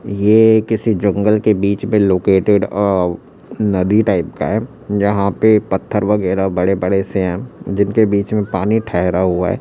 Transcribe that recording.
ये किसी जंगल के बीच में लोकेटेड औ नदी टाइप का है जहां पे पत्थर वगैरह बड़े बड़े से हैं जिनके बीच में पानी ठहरा हुआ है।